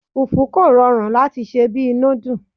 Fùfú kò rọrùn láti sè bí i núdù.